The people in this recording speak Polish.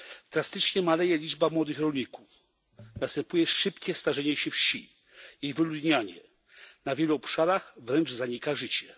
Drastycznie maleje liczba młodych rolników, następuje szybkie starzenie się wsi i wyludnianie. Na wielu obszarach wręcz zanika życie.